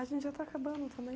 A gente já está acabando também.